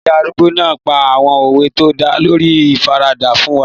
Ìyá arúgbó náà pa àwọn òwe tó dá lórí ìfaradà fún wa